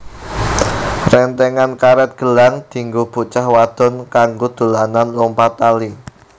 Rentengan karet gelang dienggo bocah wadon kanggo dolanan lompat tali